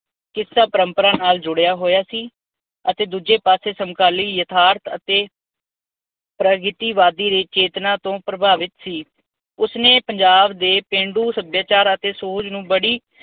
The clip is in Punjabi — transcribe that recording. ਕਿੱਸਾ ਪ੍ਰੰਪਰਾ ਨਾਲ ਜੁੜਿਆ ਹੋਇਆ ਸੀ ਅਤੇ ਦੂਜੇ ਪਾਸੇ ਸਮਕਾਲੀ ਯਥਾਰਥ ਅਤੇ ਪ੍ਰਜਾਤੀਵਾਦੀ ਦੇ ਚੇਤਨਾ ਤੋਂ ਪ੍ਰਭਾਵਿਤ ਸੀ। ਉਸਨੇ ਪੰਜਾਬ ਦੇ ਪੇਂਡੂ ਸੱਭਿਆਚਾਰ ਅਤੇ ਸੂਝ ਨੂੰ ਬੜੀ